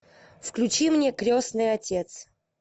включи мне крестный отец